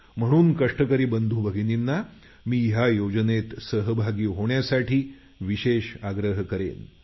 म्हणून कष्टकरी बंधुभगिनींना मी या योजनेत सहभागी होण्यासाठी विशेष आग्रह करेन